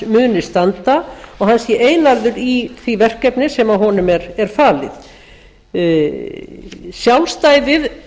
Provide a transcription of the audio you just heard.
muni standa og hann sé einarður í því verkefni sem honum er falið sjálfstæði